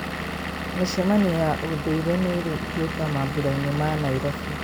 Mĩcemanio ya ũndũire nĩĩrĩ igweta mambũrainĩ ma Nairobi.